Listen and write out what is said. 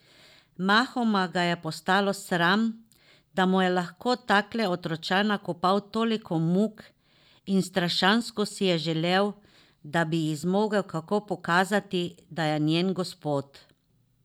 Mahoma ga je postalo sram, da mu je lahko takle otročaj nakopal toliko muk, in strašansko si je zaželel, da bi ji zmogel kako pokazati, da je njen gospod.